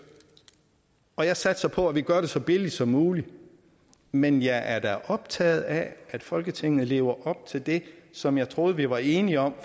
og jeg satser på at vi gør det så billigt som muligt men jeg er da optaget af at folketinget lever op til det som jeg troede vi var enige om